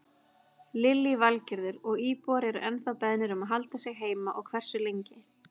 Lillý Valgerður: Og íbúar eru ennþá beðnir um að halda sig heima og hversu lengi?